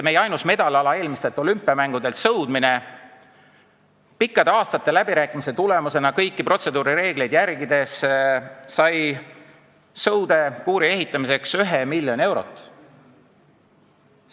Meie ainus medaliala eelmistelt olümpiamängudelt, sõudmine sai pikkade aastate läbirääkimiste tulemusena kõiki protseduurireegleid järgides sõudekuuri ehitamiseks ühe miljoni eurot.